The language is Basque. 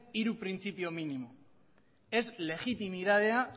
hiru printzipio minimo ez legitimitatea